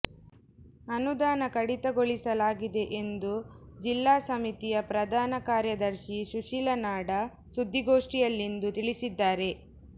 ಅನುದಾನ ಕಡಿತಗೊಳಿಸಲಾಗಿದೆ ಎಂದು ಜಿಲ್ಲಾ ಸಮಿತಿಯ ಪ್ರಧಾನ ಕಾರ್ಯ ದರ್ಶಿ ಸುಶೀಲಾ ನಾಡ ಸುದ್ದಿಗೋಷ್ಠಿಯಲ್ಲಿಂದು ತಿಳಿಸಿದ್ದಾರೆ